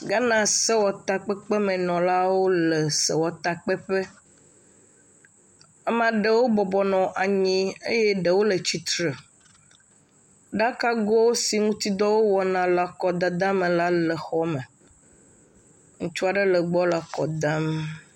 Ghana sewɔtakpekpemenɔalwo le sewɔtakpeƒe. Ame aɖewo bɔbɔ nɔ anyi eye ɖewo le tsitre, ɖakago siwo ŋtidɔ wowɔna le akɔdada me la le xɔ me, ŋutsua ɖe le egbɔ nɔ kɔ dam.